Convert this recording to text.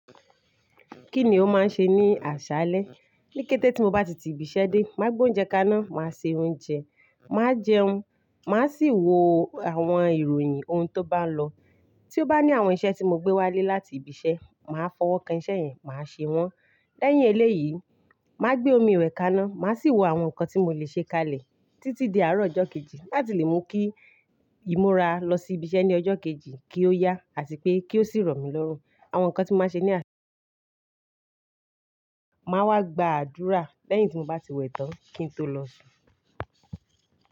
Kíni ó máa ń ṣe ní àṣálẹ́? Ní kété tí mo bá ti ti ibi iṣẹ́ dé, máa gbé oúnjẹ kaná, máa se oúnjẹ, máa jẹun, máa sì wo àwọn ìròyìn ohun tó bá lọ. Tí ó bá ní àwọn iṣẹ́ tí mo gbé wálé láti ibi iṣẹ́, màá fọwọ́ kan iṣẹ́ yẹn, màá ṣe wọ́n. Lẹ́yìn eléyìí, màá gbé omi iwẹ̀ kaná, màá sì wò àwọn nǹkan tí mo lè ṣe kalẹ̀ títí di àárọ̀ ọjọ́ kejì láti lè mú kí ìmúra lọ sí ibi iṣẹ́ ní ọjọ́ kejì kí ó yá àti pé kí ó sì rọ̀ mí lọ́rùn. Àwọn nǹkan tí màá ṣe ní àsále máa wá gba àdúrà lẹ́yìn tí mo bá ti wẹ̀ tán kí n tó lọ sùn.